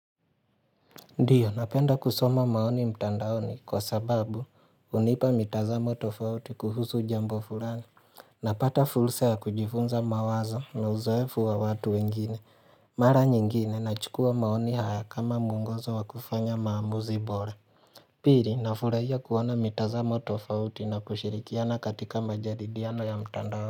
Ndiyo, napenda kusoma maoni mtandaoni kwa sababu hunipa mitazamo tofauti kuhusu jambo fulani. Napata fursa ya kujifunza mawazo na uzoefu wa watu wengine. Mara nyingine nachukua maoni haya kama mungozo wa kufanya maamuzi bora. Piri, nafurahia kuona mitazamo tofauti na kushirikiana katika majadiliano ya mtandaoni.